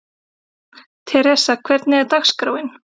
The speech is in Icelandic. Theresa, hvernig er dagskráin?